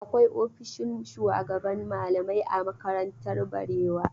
Akwai ofishin shugaban malamai a makarantar Barewa.